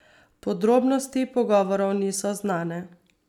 Podrobnosti pogovorov niso znane.